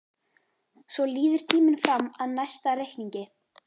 Svo líður tíminn fram að næsta reikningi.